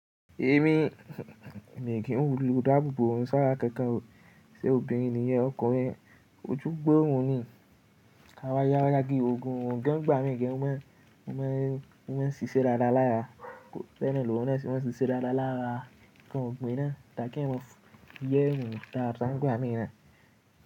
Èmi, mi ò kí n lo dàbòbò rí, ṣá kankan o, ṣe obìnrin nìyẹn ọkùnrin? Ojú gbó òun ni. A wá yá, wá yá gé ògùn, ògùn gan gba mi gan o man. Ó máa ń ṣíṣe dáadáa lára. Bẹ́ẹ̀ nani orun náà ṣe máa ń ṣíṣe dáadáa lára. Nkan ògbin náà ta kí eyan mọ fún yerun daá. Ìtàn gba mi náà.